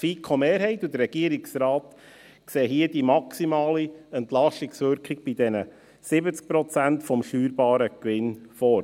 Die FiKo-Mehrheit und der Regierungsrat sehen hier die maximale Entlastungswirkung bei den 70 Prozent des steuerbaren Gewinns vor.